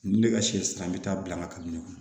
N bɛ ka sɛ san n bɛ taa bila ka taa ɲɛfɛ